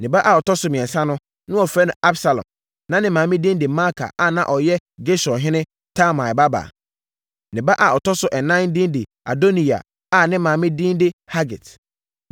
Ne ba a ɔtɔ so mmiɛnsa no, na wɔfrɛ no Absalom. Na ne maame din de Maaka a na ɔyɛ Gesurhene Talmai babaa. Ne ba a ɔtɔ so ɛnan din de Adoniya a ne maame din de Hagit.